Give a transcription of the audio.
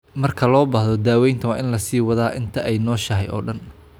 Marka loo baahdo, daawaynta waa in la sii wadaa inta ay nooshahay oo dhan.